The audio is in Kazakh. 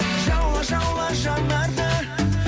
жаула жаула жанарды